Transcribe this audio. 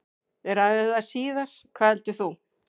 Við ræðum það síðar, hvað heldur þú?